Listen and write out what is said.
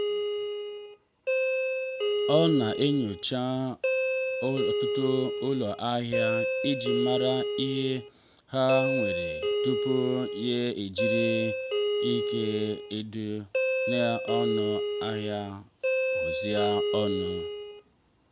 ọ na-enyocha ọtụtụ ụlọ ahịa iji mara ihe ha nwere tupu ya e jiri ihe ndị dị ọnụ ala hazie nri